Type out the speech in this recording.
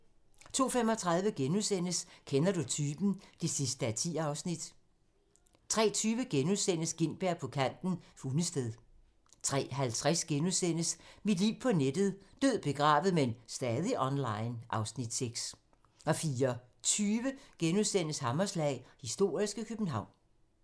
02:35: Kender du typen? (10:10)* 03:20: Gintberg på kanten - Hundested * 03:50: Mit liv på nettet: Død, begravet, men stadig online (Afs. 6)* 04:20: Hammerslag - historiske København *